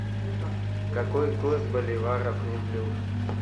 какой курс боливара к рублю